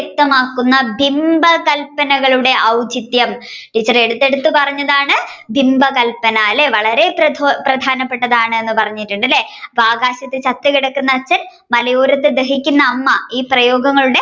വ്യക്തമാക്കുന്ന ബിംബകല്പനകളുടെ ഔചിത്യം teacher എടുത്ത് എടുത്ത് പറഞ്ഞതാണ് ബിംബകല്പന അല്ലെ വളരെ പ്രധാനപെട്ടതാണെന് പറഞ്ഞിട്ടുണ്ട് അല്ലെ ആകാശത്തു ചത്ത് കിടക്കുന്ന അച്ഛൻ മലയോരത്തു ദഹിക്കുന്ന അമ്മ ഈ പ്രയോഗങ്ങൾ